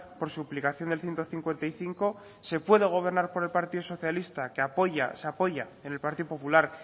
por suplicación del ciento cincuenta y cinco se puede gobernar con el partido socialista que apoya se apoya en el partido popular